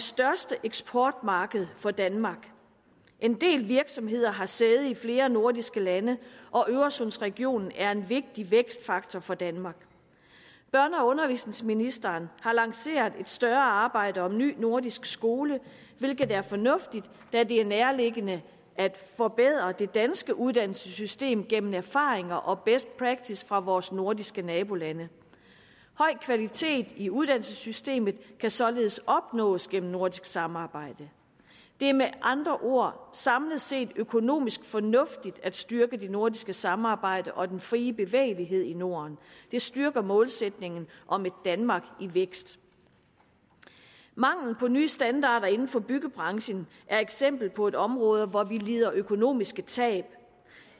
største eksportmarked for danmark en del virksomheder har sæde i flere nordiske lande og øresundsregionen er en vigtig vækstfaktor for danmark børne og undervisningsministeren har lanceret et større arbejde om ny nordisk skole hvilket er fornuftigt da det er nærliggende at forbedre det danske uddannelsessystem gennem erfaringer og best practice fra vores nordiske nabolande høj kvalitet i uddannelsessystemet kan således opnås gennem nordisk samarbejde det er med andre ord samlet set økonomisk fornuftigt at styrke det nordiske samarbejde og den frie bevægelighed i norden det styrker målsætningen om et danmark i vækst mangel på nye standarder inden for byggebranchen er eksempel på et område hvor vi lider økonomiske tab